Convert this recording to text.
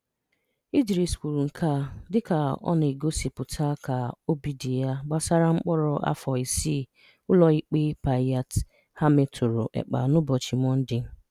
Idris kwuru nke a dịka ọ na-egosipụta ka obi dị ya gbasara mkpọrọ afọ isii Ụlọikpe Päijät-Häme tụrụ Ekpa n'ụbọchị Mọnde.